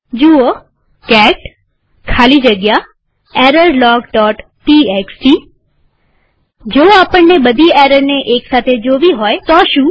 જુઓ કેટ ખાલી જગ્યા errorlogટીએક્સટી જો આપણને બધી એરરને એક સાથે જોવી હોય તો શું